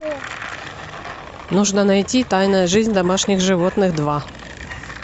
нужно найти тайная жизнь домашних животных два